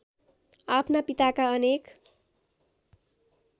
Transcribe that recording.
आफ्ना पिताका अनेक